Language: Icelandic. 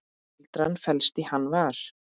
Gildran felst í Hann var.